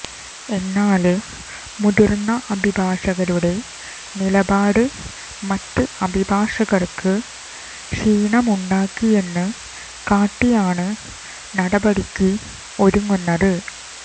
എന്നാല് മുതിര്ന്ന അഭിഭാഷകരുടെ നിലപാട് മറ്റ് അഭിഭാഷകര്ക്ക് ക്ഷീണമുണ്ടാക്കിയെന്ന് കാട്ടിയാണ് നടപടിക്ക് ഒരുങ്ങുന്നത്